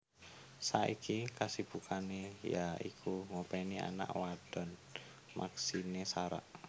Saiki kasibukane ya iku ngopeni anak wadon Maxine Sara